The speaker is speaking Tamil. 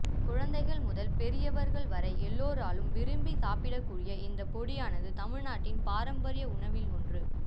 குழந்தைகள் முதல் பெரியவர்கள் வரை எல்லோராலும் விரும்பி சாப்பிடக்கூடிய இந்த பொடியானது தமிழ்நாட்டின் பாரம்பரிய உணவில் ஒன்று